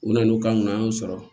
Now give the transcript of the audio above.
U nana n'u kan an y'u sɔrɔ